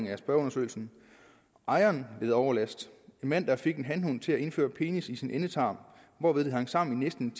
i spørgeundersøgelsen ejeren led overlast en mand der fik en hanhund til at indføre penis i sin endetarm hvorved de hang sammen i næsten